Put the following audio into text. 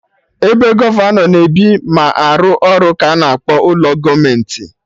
Ebe gọvanọ na ebi ma arụ ọrụ ka ana akpọ ụlọ gọọmenti